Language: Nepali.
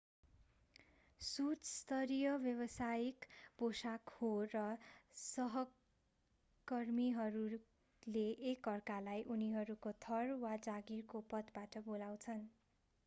सुट स्तरीय व्यवसायिक पोशाक हो र सहकर्मीहरूले एक अर्कालाई उनीहरूको थर वा जागिरको पदबाट बोलाउछन्